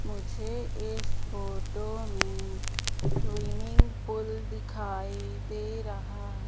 मुझे इस फोटो में स्विमिंग पूल दिखाई दे रहा--